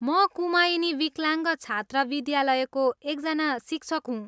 म कुमायिनी विकलाङ्ग छात्र विद्यालयको एकजना शिक्षक हुँ।